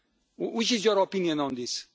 What is your opinion on this?